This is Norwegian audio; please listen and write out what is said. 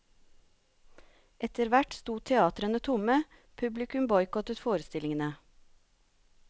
Etter hvert sto teatrene tomme, publikum boikottet forestillingene.